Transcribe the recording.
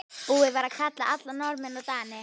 Búið var að kalla alla Norðmenn og Dani.